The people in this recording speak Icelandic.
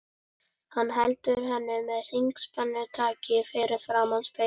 Hann heldur henni með hryggspennutaki fyrir framan spegilinn.